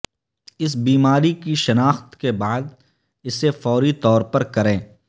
اس بیماری کی شناخت کے بعد اسے فوری طور پر کریں